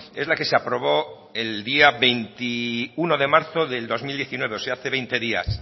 es la que se aprobó el día veintiuno de marzo del dos mil diecinueve o sea hace veinte días